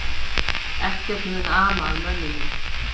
Ekkert mun ama að mönnunum